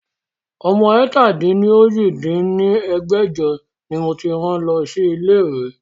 Ọmọ ẹ̀ta-dín-ní-ojì dín ní ẹgbẹ́jọ ni mo ti rán lọ sí ilé ìwé